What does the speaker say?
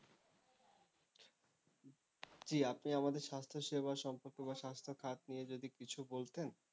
জি আপনি আমাদের স্বাস্থ্য সেবা সম্পর্কে বা স্বাস্থ্যখাত নিয়ে যদি কিছু বলতেন?